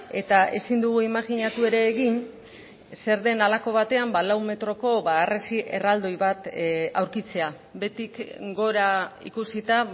eta ezin dugu imajinatu ere egin zer den halako batean lau metroko harresi erraldoi bat aurkitzea behetik gora ikusita